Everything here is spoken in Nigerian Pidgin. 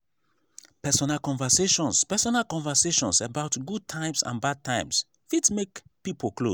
personal conversations personal conversations about good times and bad times fit make pipo close